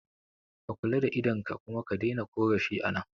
Ka kula da idon ka kuma ka daina korafi a nan